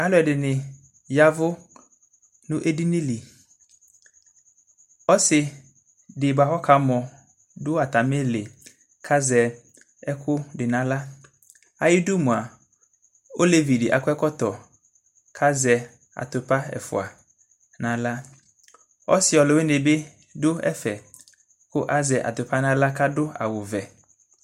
alu ɛdini yavu nu edini li ɔsi di boa kɔ ka mɔ du atamili ka sɛ ɛku di na xla ayidu moa olévi di akɔ ɛkɔtɔ ka zɛ atupa ɛfoa nu axla ɔsi luwuini bi du ɛfɛ ka sɛ atupa na axla ka du awu vɛ